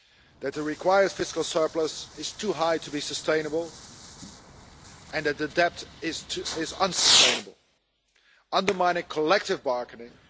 that the required fiscal surplus is too high to be sustainable, and that the debt is unsustainable, undermining collective bargaining.